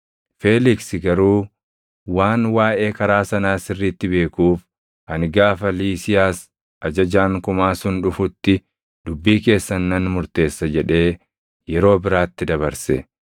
Feeliksi garuu waan waaʼee Karaa sanaa sirriitti beekuuf, “Ani gaafa Liisiiyaas ajajaan kumaa sun dhufutti dubbii keessan nan murteessa” jedhee yeroo biraatti dabarse.